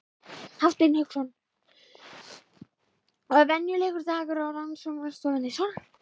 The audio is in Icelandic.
Hafsteinn Hauksson: Og er venjulegur dagur á rannsóknarstofunni svona?